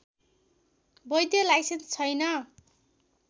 वैध लाइसेन्स छैन